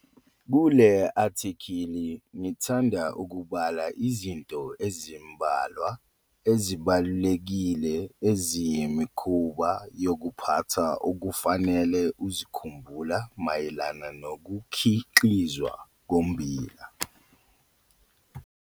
Kule athekhili ngithanda ukubala izinto ezimbalwa ezibalulekile eziyimikhuba yokuphatha okufanele uzikhumbula mayelana nokukhiqizwa kommbila.